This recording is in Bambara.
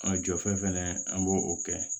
An ka jɔfɛn an b'o kɛ